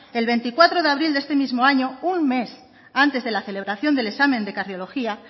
el veinticuatro de abril de este mismo año un mes antes de la celebración del examen de cardiología